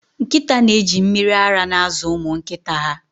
Nkịta na-eji mmiri ara na-azụ ụmụ nkịta ha